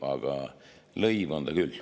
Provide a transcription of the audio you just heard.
Aga lõiv on ta küll.